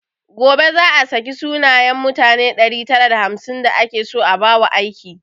Gobe za a saki sunayen mutane ɗari tara da hamsin da ake so a ba wa aiki